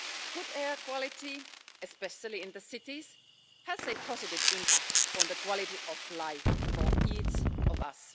Good air quality, especially in cities, has a positive impact on the quality of life for each of us.